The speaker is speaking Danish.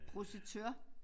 Projektør